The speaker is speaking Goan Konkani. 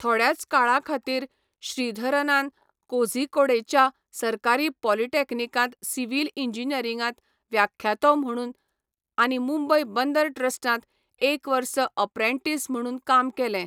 थोड्याच काळा खातीर श्रीधरनान कोझीकोडेच्या सरकारी पॉलिटेक्निकांत सिव्हिल इंजिनियरिंगांत व्याख्यातो म्हणून आनी मुंबय बंदर ट्रस्टांत एक वर्स अप्रेंटिस म्हणून काम केलें.